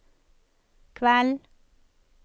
kveld